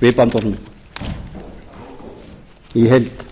við bandorminn í heild